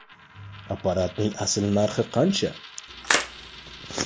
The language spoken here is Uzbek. Apparatning asl narxi qancha?.